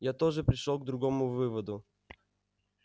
я тоже пришёл к другому выводу